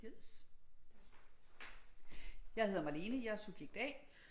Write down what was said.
Jeg hedder Malene jeg er subjekt A